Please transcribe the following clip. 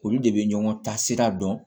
Olu de bɛ ɲɔgɔn ta sira dɔn